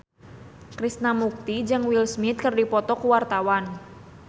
Krishna Mukti jeung Will Smith keur dipoto ku wartawan